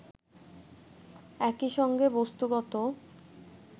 একই সঙ্গে বস্তুগত